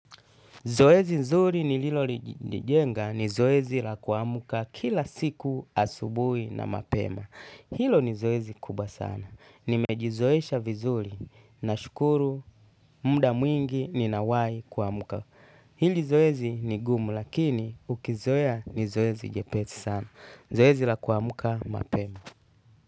Zoezi nzuri ni lilolijenga ni zoezi la kuamka kila siku asubuhi na mapema. Hilo ni zoezi kubwa sana. Nimejizoesha vizuri na shukuru, muda mwingi ni nawai kuamka. Hili zoezi ni gumu lakini ukizoa ni zoezi jepezi sana. Zoezi la kuamka mapema.